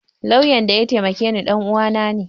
Lauyan da ya taimake ni ɗanuwa na ne